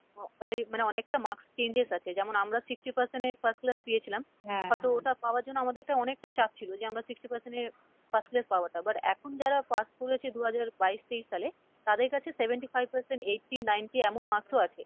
মানে অনেকটা marks changes আছে যেমন আমরা sixty percent এ first class পেয়েছিলাম, হয়তো ওটা পাওয়ায় জন্য আমাদের একটা অনেকটা চাপ ছিলো যে আমরা sixty percent এ first class পাওয়াটা but এখন যারা pass করেছে দু হাজার বাইশ, তেইশ সালে, তাদের কাছে seventy five percent, eighty, ninety এমন marks ও আছে,